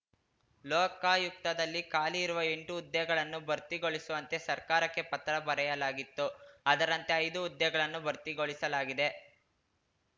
ಲೋಕಾಯುಕ್ತದಲ್ಲಿ ಖಾಲಿ ಇರುವ ಎಂಟು ಹುದ್ದೆಗಳನ್ನು ಭರ್ತಿಗೊಳಿಸುವಂತೆ ಸರ್ಕಾರಕ್ಕೆ ಪತ್ರ ಬರೆಯಲಾಗಿತ್ತು ಅದರಂತೆ ಐದು ಹುದ್ದೆಗಳನ್ನು ಭರ್ತಿಗೊಳಿಸಲಾಗಿದೆ